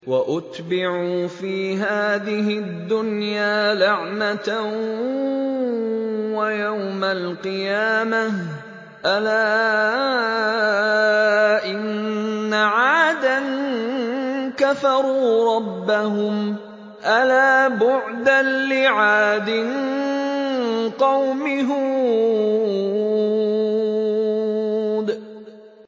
وَأُتْبِعُوا فِي هَٰذِهِ الدُّنْيَا لَعْنَةً وَيَوْمَ الْقِيَامَةِ ۗ أَلَا إِنَّ عَادًا كَفَرُوا رَبَّهُمْ ۗ أَلَا بُعْدًا لِّعَادٍ قَوْمِ هُودٍ